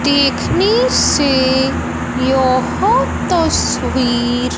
देखने से यह तस्वीर--